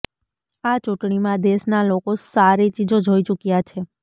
આ ચૂંટણીમાં દેશના લોકો સારી ચીજો જોઈ ચુક્યા છે